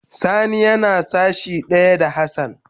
Sani yana sashi daya da Hassan.